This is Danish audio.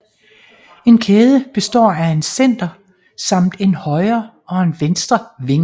En kæde består af en center samt en højre og en venstre wing